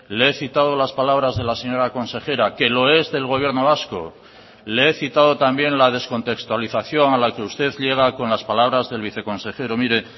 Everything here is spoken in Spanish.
le he citado las palabras de la señora consejera que lo es del gobierno vasco le he citado también la descontextualización a la que usted llega con las palabras del viceconsejero mire